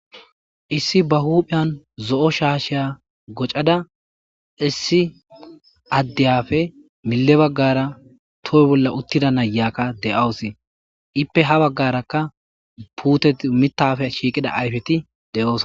issi ba huuphiyan zo7o shaasheya gocada issi addiyafe mille baggara toho bolla uttida nayakka de7awos ippe ha baggarakka puutet mitafe shiiqida ayfeti de7oosa